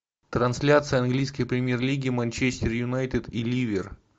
трансляция английской премьер лиги манчестер юнайтед и ливер